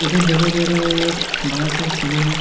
इधर दिखाई दे रहा है एक बड़ा सा सैलून है।